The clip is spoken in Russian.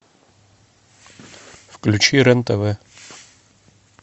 включи рен тв